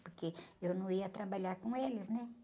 Porque eu não ia trabalhar com eles, né?